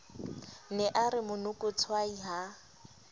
ne a re monokotshwai ha